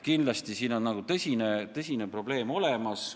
Kindlasti on tõsine probleem olemas.